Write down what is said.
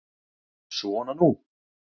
Svona nú.